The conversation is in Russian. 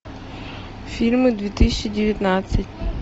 фильмы две тысячи девятнадцать